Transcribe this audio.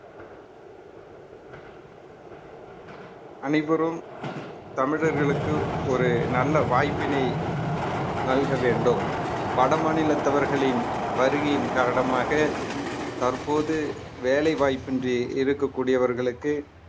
அனைவரும் தமிழர்களுக்கு ஒரு நல்ல வாய்ப்பினை நல்க வேண்டும் வட மாநிலத்தவர்களின் வருகையின் காரணமாக தற்போது வேலைவாய்ப்பின்றி இருக்கக்கூடியவர்களுக்கு